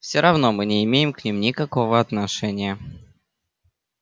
все равно мы не имеем к ним никакого отношения